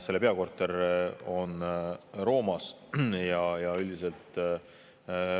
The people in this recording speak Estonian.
Selle peakorter on Roomas.